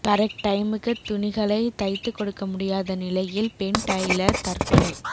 correct டைமுக்கு துணிகளை தைத்து கொடுக்க முடியாத நிலையில் பெண் டெய்லர் தற்கொலை